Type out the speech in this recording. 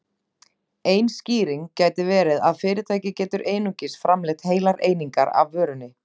Ein skýring gæti verið að fyrirtæki getur einungis framleitt heilar einingar af vörunni.